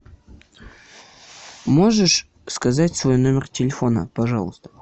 можешь сказать свой номер телефона пожалуйста